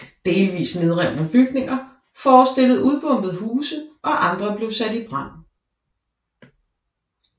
Delvis nedrevne bygninger forestillede udbombede huse og andre blev sat i brand